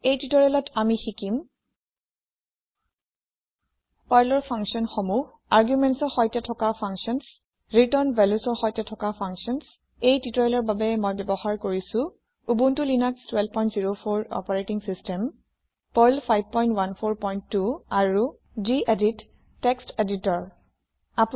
এই টিওটৰিয়েলত আমি শিকিম পাৰ্লৰ ফাংচন সমূহ আৰ্গুমেণ্টছ ৰ সৈতে থকা ফাংচাঞ্চ ৰিটাৰ্ণ valuesৰ সৈতে থকা ফাংচাঞ্চ এই টিওটৰিয়েলৰ বাবে মই ব্যৱহাৰ কৰিছো Ubuntu Linux ১২০৪ operating system Perl ৫১৪২ আৰু যিএদিত টেক্সট এদিতৰ আপুনি নিজৰ ইচ্ছা অনুসৰি যিকোনো এটা টেক্সট এদিতৰ বাচিব লব পাৰে